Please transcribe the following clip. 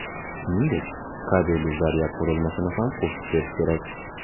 Shuningdek, kabelli zaryad qurilmasini ham qo‘shib berish kerak.